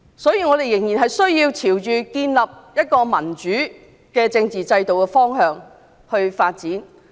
因此，我們仍須朝着建立民主政治制度的方向發展。